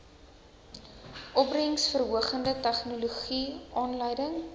opbrengsverhogende tegnologie aanleiding